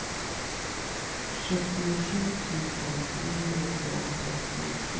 sjuttiosju tusen trehundratrettiosju